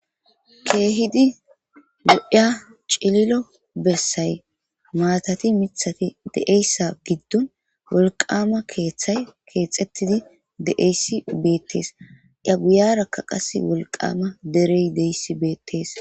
Kehidi lo'a cililo besayi matati mithati de'eyisa gidon kethay kexitidi de'es betes eya guyaraka qasi woliqama dereyi deyis betes